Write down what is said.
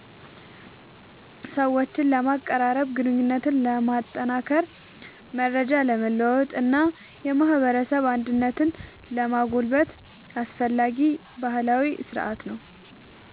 ሰዎችን ለማቀራረብ፣ ግንኙነትን ለማጠናከር፣ መረጃ ለመለዋወጥ እና የማህበረሰብ አንድነትን ለማጎልበት አስፈላጊ ባህላዊ ሥርዓት ነው።